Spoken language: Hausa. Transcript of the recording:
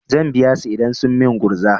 Zan biya su idan sun min gurza.